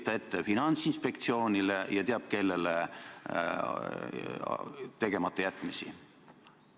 Kas on õige Finantsinspektsioonile ja teab kellele veel nende tegematajätmisi ette heita?